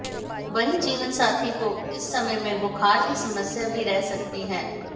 वहीं जीवनसाथी को इस समय में बुखार की समस्या भी रह सकती है